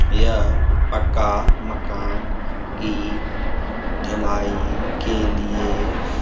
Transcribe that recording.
यह पक्का मकान की ढलाई के लिए --